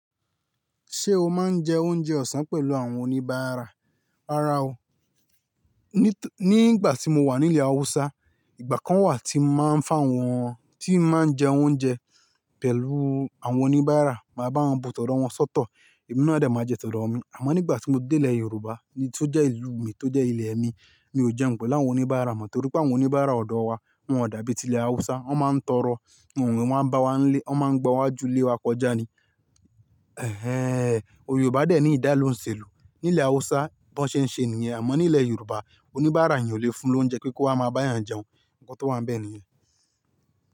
Ṣé o máa ń jẹ oúnjẹ ọ̀sán pẹ̀lú àwọn oníbàárà? Rárá o. Ní ìgbà tí mo wà ní ilẹ̀ Haúsá, ìgbà kan wà tí mo máa ń fun awọn, tí máa ń jẹ oúnjẹ pẹ̀lú àwọn oníbàárà, màá bá wọn bu tọ̀dọ́ wọn sọ́tọ̀, èmi náà de máa jẹ tọ̀dọ́ mi. Àmọ́ nígbà tí mo dé ilẹ̀ Yorùbá, tí ó jẹ́ ìlú mi, tó jẹ́ ilẹ̀ mi, mi ò jẹun pẹ̀lú àwọn oníbàárà mọ́, torí pé àwọn oníbàárà ọ̀dọ̀ wa, wọ́n ò dàbí ti ilẹ̀ Haúsá. Wọ́n máa ń tọrọ, wọ́n n wá bá wa n lé, wọ́n máa ń gba iwajú ilé wa kọjá ni. Ẹ̀hẹ̀ẹ́n! Owe Yorùbá dè ní ìdálu ouń ṣèlú. Ní ilẹ̀ Haúsá, bí wọ́n ṣe ń ṣe nìyẹn, àmọ́ ní ilẹ̀ Yorùbá, oníbàárà yén ò le fun lóúnjẹ kí ó wá máa bá eeyàn jẹun. Ǹkan tó wá ń bẹ nìyẹn.